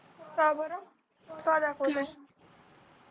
का बरं का दाखवत नाही